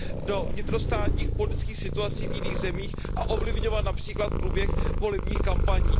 do vnitrostátních politických situací v jiných zemích a ovlivňovat například průběh volebních kampaní.